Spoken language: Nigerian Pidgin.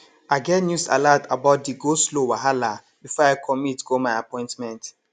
i get news alat about di goslow wahala before i commit go my appointment